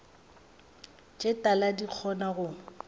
tše tala di kgona go